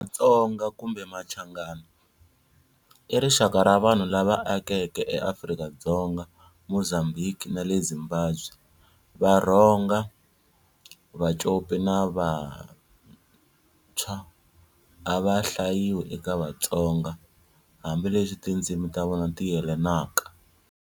Matsonga, Kumbe Machangana, i rixaka ra vanhu lava akeke eAfrika-Dzonga, Mozambhiki na le Zimbabwe. Varhonga, Vacopi na Vathswa a va hlayiwi eka Vatsonga, hambi leswi tindzimi tavona tiyelanaka.